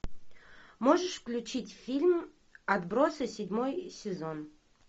можешь включить фильм отбросы седьмой сезон